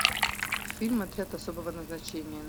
фильм отряд особого назначения